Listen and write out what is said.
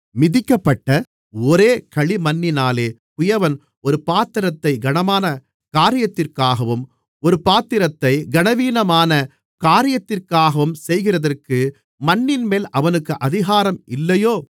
மிதிக்கப்பட்ட ஒரே களிமண்ணினாலே குயவன் ஒரு பாத்திரத்தைக் கனமான காரியத்திற்காகவும் ஒரு பாத்திரத்தைக் கனவீனமான காரியத்திற்காகவும் செய்கிறதற்கு மண்ணின்மேல் அவனுக்கு அதிகாரம் இல்லையோ